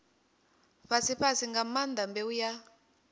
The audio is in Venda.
fhasifhasi nga maanḓa mbeu ya